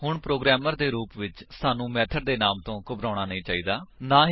ਹੁਣ ਪ੍ਰੋਗਰਾਮਰ ਦੇ ਰੂਪ ਵਿੱਚ ਸਾਨੂੰ ਮੇਥਡ ਦੇ ਨਾਮ ਤੋ ਘਬਰਾਉਣਾ ਨਹੀਂ ਚਾਹੀਦਾ ਹੈ